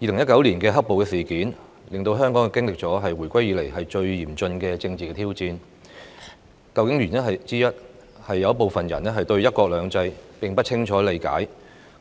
2019年的"黑暴"事件，令香港經歷了自回歸以來最嚴峻的政治挑戰，原因之一，是有部分人並不清楚了解"一國兩制